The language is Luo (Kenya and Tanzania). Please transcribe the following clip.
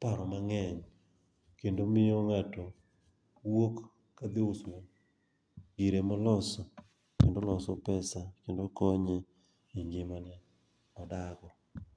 paro mang'eny kendo miyo ng'ato wuok kadhi usogire moloso kendo oloso pesa kendo konye e ngimane modak go.